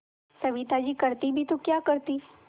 सविता जी करती भी तो क्या करती